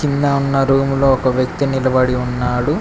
కింద ఉన్న రూమ్ లో ఒక వ్యక్తి నిలబడి ఉన్నాడు.